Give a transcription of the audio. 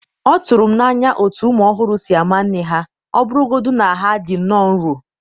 ọ tụrụ m n’anya otú ụmụ ọhụrụ si ama nne ha, ọ bụrụgodị na ha dị nnọọ nro.